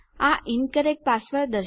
આ incorrect password